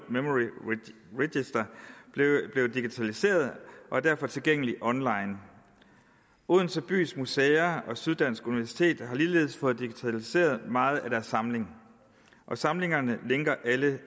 register blevet digitaliseret og er derfor tilgængelig online odense bys museer og syddansk universitet har ligeledes fået digitaliseret meget af deres samling og samlingerne linker alle